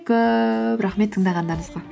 көп рахмет тыңдағандарыңызға